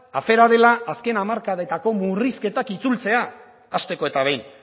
afera dela azken hamarkadetako murrizketak itzultzea hasteko eta behin